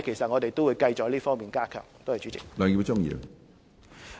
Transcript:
我們會繼續加強各方面的工作。